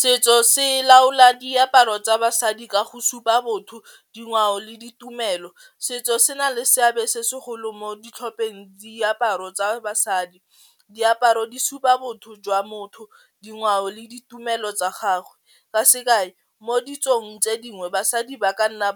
Setso se laola diaparo tsa basadi ka go supa botho dingwao le ditumelo, setso se na le seabe se segolo mo ditlhopheng diaparo tsa basadi diaparo di supa botho jwa motho dingwao le ditumelo tsa gagwe, ka sekai mo ditsong tse dingwe basadi ba ka nna